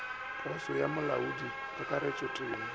poso go molaodi kakaretšo temo